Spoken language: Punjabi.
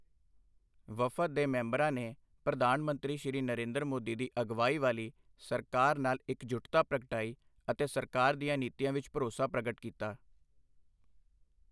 ਵਫ਼ਦ ਦੇ ਮੈਂਬਰਾਂ ਨੇ ਪ੍ਰਧਾਨ ਮੰਤਰੀ ਸ਼੍ਰੀ ਨਰਿੰਦਰ ਮੋਦੀ ਦੀ ਅਗਵਾਈ ਵਾਲੀ ਸਰਕਾਰ ਨਾਲ ਇੱਕਜੁੱਟਤਾ ਪ੍ਰਗਟਾਈ ਅਤੇ ਸਰਕਾਰ ਦੀਆਂ ਨੀਤੀਆਂ ਵਿੱਚ ਭਰੋਸਾ ਪ੍ਰਗਟ ਕੀਤਾ।